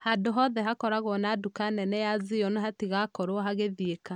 Handũ hothe hakuhe na duka nene ya zion hatigakorwo hagĩthieka.